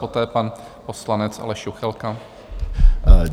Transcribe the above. Poté pan poslanec Aleš Juchelka.